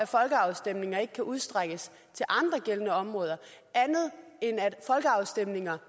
folkeafstemninger ikke kan udstrækkes til andre gældende områder andet end at folkeafstemninger